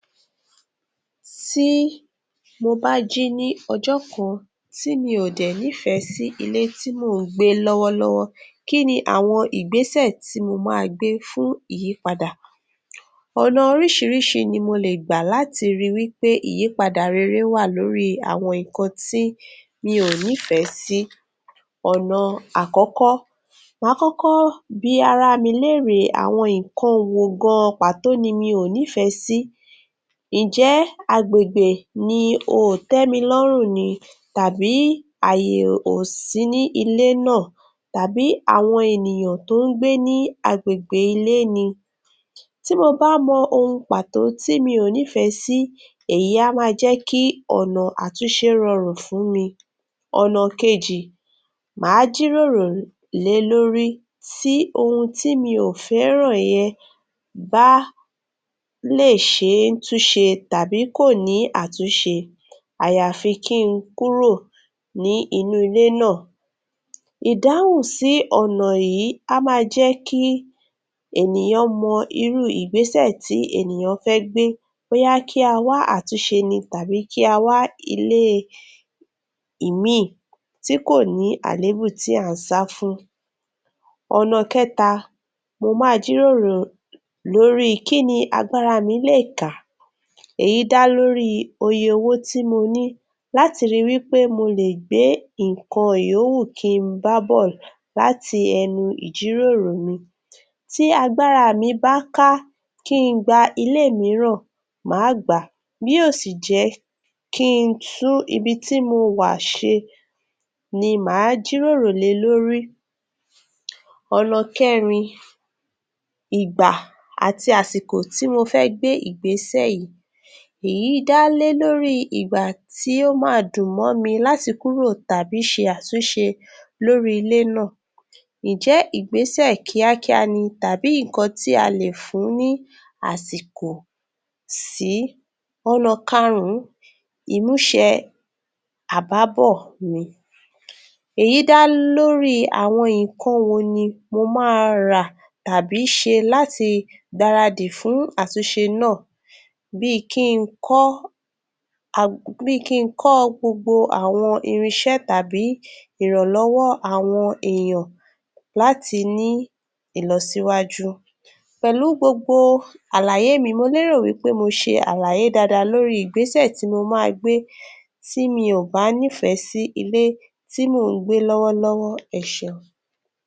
Tí mo bá jí ní ọjọ́ kan, tí mi ò dẹ̀ nífẹ̀ẹ́ sì ilé tí mò ń gbé lọ́wọ́lọ́wọ́. Kí ni àwọn ìgbésẹ̀ tí mo máa gbé fún ìyípadà? Ọ̀nà orísìírísìí ni mo lè gbà láti rí wí pé ìyípadà rere wà lórí i àwọn nkan tí mi ò ní fẹ́ sí. Ọ̀nà àkọ́kọ́, mà á kọ́kọ́ bí ara mi léèrè àwọn inkọn wò gan an pàtó ni mi ò nífẹ̀ẹ́ sí? Ǹjẹ́ agbègbè ni o ò tẹ́mi lọ́rùn ni? Tàbí àyè ò ò sí ní ilé náà? Tàbí àwọn ènìyàn tó ń gbé ní a? Tí mo bá mọ ohun pàtó tí mi ò nífẹ̀ẹ́ sí, èyí a máa jẹ́ kí ọ̀nà àtúnṣe ròrùn fún mi. Ọ̀nà kejì, mà á jíròrò lé lórí tí ohun tí mi ò fẹ́ran yẹn bá lè ṣe é túnṣe, tàbí kò ní àtúnṣe, àyàfi kí n kúrò ní inú ilé náà. Ìdáhùn sí ọ̀nà yìí á máa jẹ́ kí ènìyàn mọ irú ìgbésẹ̀ tí ènìyàn fẹ́ gbé bóyá kí a wá àtúnṣe ni àbí kí a wá ilé ẹ ìmín ìn tí kò ní àlébù tí à ń sá fún. Ọ̀nà kẹ́ta, mo máa jíròrò lórí i kí ni agbára mi lè ká? Èyí dá lórí i oye owó tí mo ní láti ri wí pé mo lè gbé ìǹkọ̀n yówù kí n bá bọ̀ láti ẹnu ìjíròrò mi. Tí agbára mi bá ká kí i gba ilé e mìíràn, mà á gbà á, bí ó sì jé kí I tún ibi tí mo wà ṣe ni, mà á jíròrò lé lórí. Ọ̀nà kẹrìn, ìgbà àti àsìkò tí mo fẹ́ gbé ìgbésẹ̀ yíí, èyí dá lórí ìgbà tí ó máa dùn mọ́ ni láti kúrò tàbí ṣe àtúnṣe lórí ilé náà. Ń jẹ́ ìgbésẹ̀ kíákíá ni tàbí nkọn tí a lè fún ní àsìkò sí? Ọ̀nà kárún ún, ìmúṣe àbábọ̀ mi, èyí dá lórí I àwọn ǹkọn wo ni mo máa rà tàbí ṣe láti gbáradì fún àtúnṣe náà? Bí i kí n ( ag) bí i kí n kọ̀ gbogbo àwọn irinṣẹ́ tàbí ìrànlọ́wọ́ àwọn èèyàn láti ní ìlọsíwàjú. Pẹ̀lú gbogbo àlàyé mi, mo lé rò wí pé mo ṣe àlàyé daadaa lórí I ìgbésẹ̀ tí mo máa gbé tí mi ò bá nífẹ̀ẹ́ sí ilé tí mò ń gbé lọ́wọ́lọ́wọ́. Ẹ ṣeun.